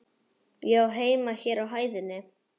Ég á heima hér á hæðinni.